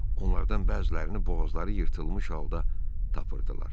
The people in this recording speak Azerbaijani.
Onlardan bəzilərini boğazları yırtılmış halda tapırdılar.